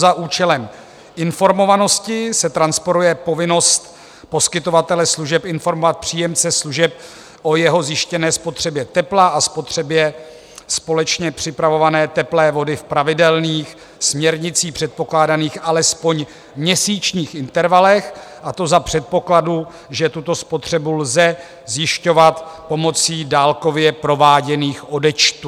Za účelem informovanosti se transponuje povinnost poskytovatele služeb informovat příjemce služeb o jeho zjištěné spotřebě tepla a spotřebě společně připravované teplé vody v pravidelných, směrnicí předpokládaných alespoň měsíčních intervalech, a to za předpokladu, že tuto spotřebu lze zjišťovat pomocí dálkově prováděných odečtů.